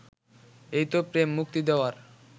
এইতো প্রেম' মুক্তি দেওয়ার